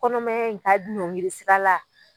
Kɔnɔmaya n ka nɔngiri sira la